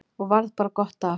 Og varð bara gott af.